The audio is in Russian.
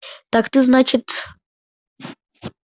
так ты значит